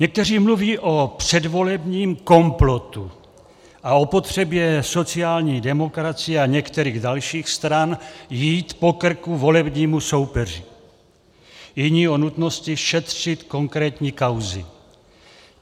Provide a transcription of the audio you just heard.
Někteří mluví o předvolebním komplotu a o potřebě sociální demokracie a některých dalších stran jít po krku volebnímu soupeři, jiní o nutnosti šetřit konkrétní kauzy.